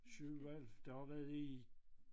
7 hvad det har været i